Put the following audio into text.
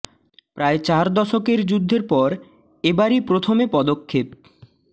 প্রায় চার দশকের যুদ্ধের পর এবারই প্রথম এ পদক্ষেপ